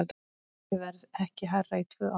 Olíuverð ekki hærra í tvö ár